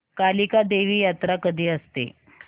कालिका देवी यात्रा कधी असते